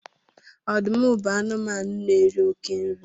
ọdụm bu anụmanụ n'eri oke nri